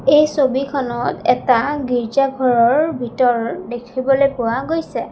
এই ছবিখনত এটা গীৰ্জাঘৰৰ ভিতৰ দেখিবলৈ পোৱা গৈছে।